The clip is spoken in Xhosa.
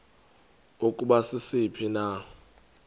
ukuba sisiphi na